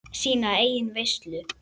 Sína eigin veislu.